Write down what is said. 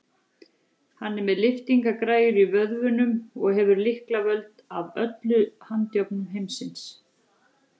Hann er með lyftingagræjur í vöðvunum og hefur lyklavöld að öllum handjárnum heimsins.